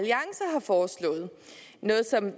noget som